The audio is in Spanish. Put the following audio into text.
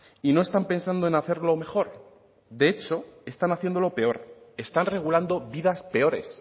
y no están pensando en hacerlo mejor de hecho están haciéndolo peor están regulando vidas peores